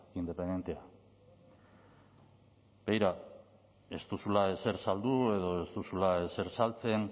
independentea begira ez duzula ezer saldu edo ez duzula ezer saltzen